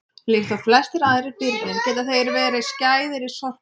líkt og flestir aðrir birnir geta þeir verið skæðir í sorphaugum